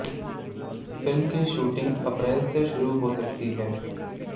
film की shooting अप्रैल से शुरू हो सकती है